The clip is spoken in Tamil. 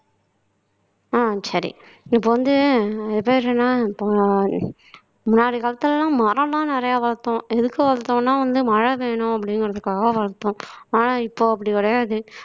ஆஹ் சரி இப்ப வந்து இது பேர் என்ன இப்ப முன்னாடி காலத்துலலாம் மரம்லாம் நிறைய வளர்த்தோம் எதுக்கு வளர்த்தோம்னா வந்து மழை வேணும் அப்படிங்கிறதுக்காக வளர்த்தோம் ஆனால் இப்போ அப்படி கிடையாது